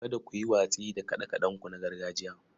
Kada ku yi watsi da kaɗe-kaɗenku na gargajiya.